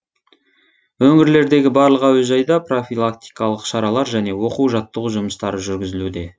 өңірлердегі барлық әуежайда профилактикалық шаралар және оқу жаттығу жұмыстары жүргізілуде